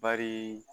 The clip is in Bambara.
Bari